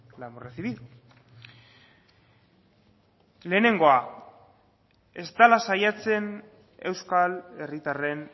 la hemos recibido lehenengoa ez dela saiatzen euskal herritarren